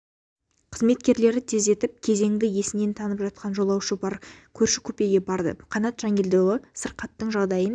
қызметкерлері тездетіп кезеңді есінен танып жатқан жолаушы бар көрші купеге барды қаннат жангелдіұлы сырқаттың жағдайын